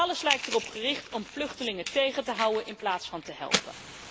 Alles lijkt erop gericht om vluchtelingen tegen te houden in plaats van te helpen.